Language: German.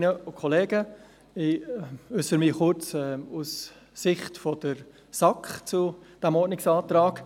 Ich äussere mich kurz aus Sicht der SAK zu diesem Ordnungsantrag.